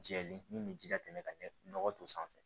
Jɛlen min bɛ ji latɛmɛ ka ɲɛ nɔgɔ don sanfɛ